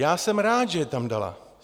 Já jsem rád, že je tam dala.